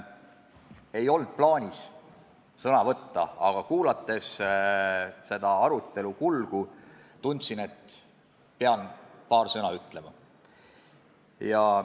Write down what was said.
Mul ei olnud plaanis sõna võtta, aga kuulates seda arutelu ma tundsin, et pean paar sõna ütlema.